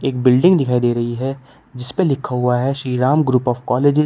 एक बिल्डिंग दिखाई दे रही है जिसपे लिखा हुआ है Shri Ram group of college --